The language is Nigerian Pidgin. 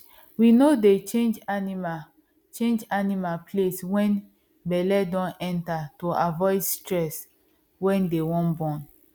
we no dey change animal change animal place when belle don near to avoid stress when they wan born